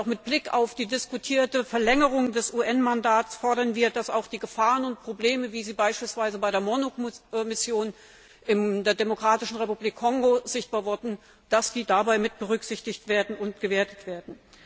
Mit Blick auf die diskutierte Verlängerung des UN Mandats fordern wir, dass auch die Gefahren und Probleme, wie sie beispielsweise bei der MONUC Mission in der Demokratischen Republik Kongo sichtbar wurden, dabei mit berücksichtigt und ausgewertet werden.